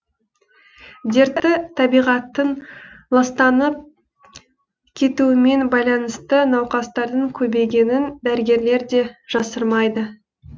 дерті табиғаттың ластанып кетуімен байланысты науқастардың көбейгенін дәрігерлер де жасырмайды